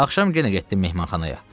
Axşam yenə getdim mehmanxanaya.